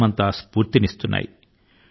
యావత్తు దేశాని కి ప్రేరణ ను అందిస్తున్నాయి